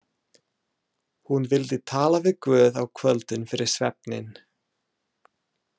Hún vildi tala við Guð á kvöldin fyrir svefninn.